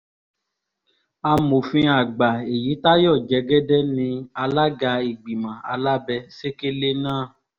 amòfin àgbà èyítayọ jẹ́gẹ́dẹ́ ní alága ìgbìmọ̀ alábẹ́-sẹ̀kẹ̀lẹ̀ náà